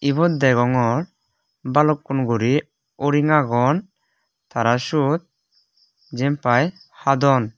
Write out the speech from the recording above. ebot degongor balukkun guri uring agon tara sot jempai hadon.